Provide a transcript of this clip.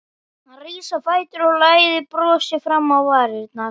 Hann rís á fætur og læðir brosi fram á varirnar.